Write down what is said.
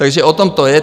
Takže o tom to je.